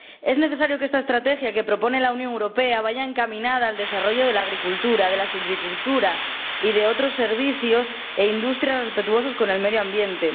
Es necesario que esta estrategia que propone la Unión Europea vaya encaminada al desarrollo de la agricultura, de la silvicultura y de otros servicios e industrias respetuosos con el medio ambiente.